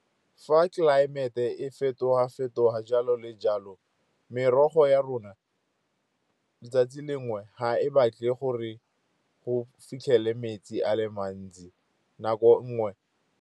Fa tlelaemete e fetoga-fetoga jalo le jalo, merogo ya rona letsatsi lengwe ga e batle gore go fitlhele metsi a le mantsi nako nngwe.